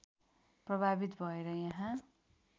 प्रभावित भएर यहाँ